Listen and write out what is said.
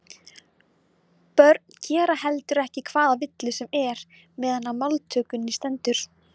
Börn gera heldur ekki hvaða villu sem er meðan á máltökunni stendur.